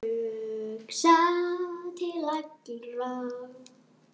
Hugsa til allra.